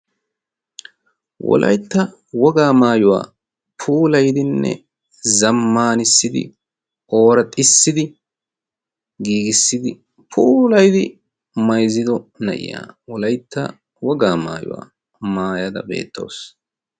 wolaytta wogaa maayuwaa puulaydinne zammanissidi oora xissidi giigissidi puulaidi mayzzido na'iya wolaytta wogaa maayuwaa maayada beettoosona